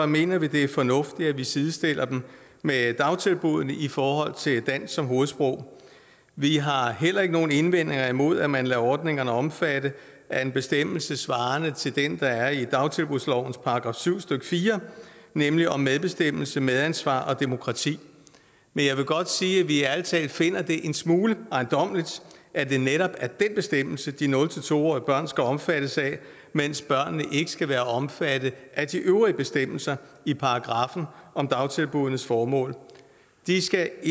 mener vi det er fornuftigt at vi sidestiller dem med dagtilbuddene i forhold til dansk som hovedsprog vi har heller ikke nogen indvendinger imod at man lader ordningerne omfatte af en bestemmelse svarende til den der er i dagtilbudslovens § syv stykke fire nemlig om medbestemmelse medansvar og demokrati men jeg vil godt sige at vi ærlig talt finder det en smule ejendommeligt at det netop er den bestemmelse de nul to årige børn skal omfattes af mens børnene ikke skal være omfattet af de øvrige bestemmelser i paragraffen om dagtilbuddenes formål de skal